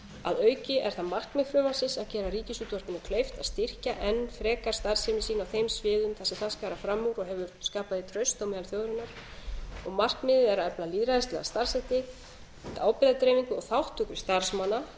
að auki er það markmið frumvarpsins að gera ríkisútvarpinu kleift að styrkja enn frekar starfsemi sína á þeim sviðum þar sem það skarar fram úr og hefur skapað því traust á meðal þjóðarinnar og markmiðið er að efla lýðræðislega starfshætti ábyrgðardreifingu og þátttöku starfsmanna